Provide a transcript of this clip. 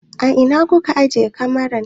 A ina kuka ajiye kamaran?